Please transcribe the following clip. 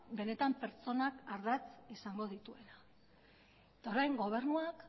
benetan pertsonak ardatz izango dituela eta orain gobernuak